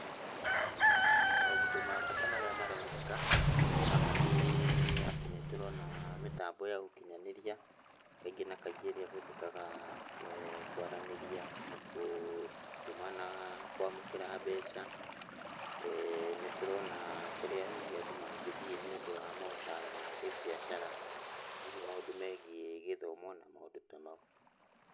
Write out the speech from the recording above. Maũndũ ma bata marĩa maroneka, haha nĩ atĩ nĩtũrona mĩtambo ya ũkinyanĩria, kaingĩ na kaingĩ ĩrĩa ĩhũthĩkaga kwaranĩria, gũtũmana, kwamũkĩra mbeca. Nĩtũrona kũrĩa hihi andũ mangĩthiĩ nĩndũ wa maũtaro ma kĩmbiacara, hihi maũndũ megiĩ gĩthomo na maũndũ ta mau.